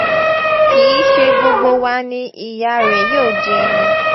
kì í ṣe gbogbo wa ni ìyá rẹ̀ yóò jẹ́ ni